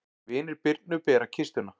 Vinir Birnu bera kistuna.